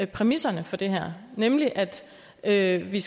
præmisserne for det her nemlig at at vi